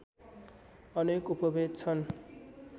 अनेक उपभेद छन्